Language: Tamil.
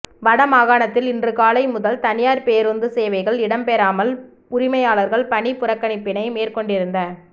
வட மாகாணத்தில் இன்று காலை முதல் தனியார் பேரூந்து சேவைகள் இடம்பெறாமல் உரிமையாளர்கள் பணிப்புறக்கணிப்பினை மேற்கொண்டிருந்த